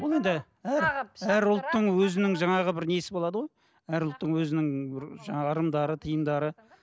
өзінің жаңағы бір несі болады ғой әр ұлттың өзінің бір жаңағы ырымдары тиымдары